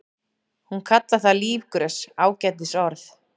Hún kallar það lífgrös, ágætis orð.